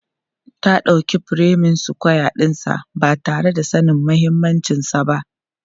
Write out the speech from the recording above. Ta dauki furemin sukwaya ɗinsa ba tare da sanin mahimmancinsa ba.